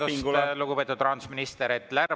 Vabandust, lugupeetud rahandusminister!